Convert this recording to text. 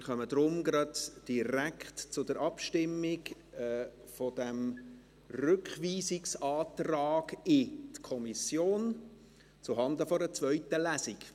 Wir kommen daher direkt zur Abstimmung über diesen Rückweisungsantrag in die Kommission zuhanden einer zweiten Lesung.